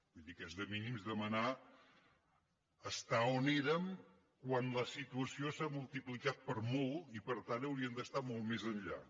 vull dir que és de mínims demanar ser on érem quan la situació s’ha multiplicat per molt i per tant hauríem de ser molt més enllà